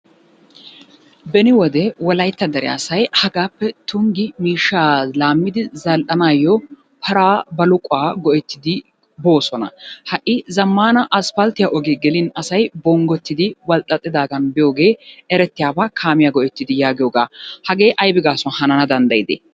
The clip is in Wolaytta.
Beni wode wolaytta dere asay hagaappe Tunggi miishshaa laammidi zal"anaayyo paraa baluquwa go'ettidi boosona. Ha"i zammaana asppalttiya ogee gelin asay bonggottidi walxxaxxidaagan biyogee erettiyaba kaamiya go'ettidi yaagiyogaa. Hagee aybi gaasuwan hanana danddayidee?